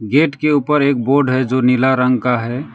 Gate के ऊपर एक बोर्ड है जो नीला रंग का है।